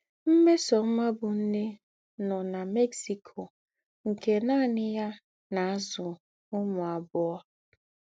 Mmesoma bụ̀ nnè nọ nà Mexico nke nánị yà na - àzụ̀ ǔmū àbụọ̀.